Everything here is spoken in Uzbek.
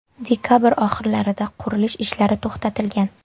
Dekabr oxirlarida qurilish ishlari to‘xtatilgan.